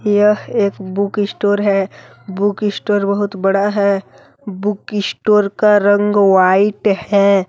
यह एक book store है। बुक इशटोर बहुत बड़ा है। बुक इशटोर का रंग वाइट है।